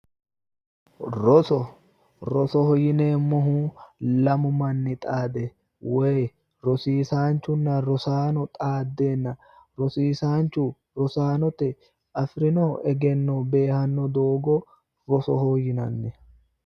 roso rosoho yineemmohu lamu manni xaade woyi rosiisaanchunna rosaano xaaddenna rosiisaanchu rosaanote afirino egenno beehanno doogo rosoho yinanni.